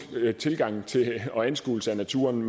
tilgang til og anskuelse af naturen